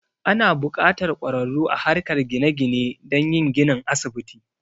Ana buƙatar ƙwararru a harkar gine gine don yin ginin asibiti.